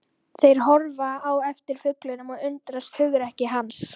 Þeir horfa á eftir fuglinum og undrast hugrekki hans.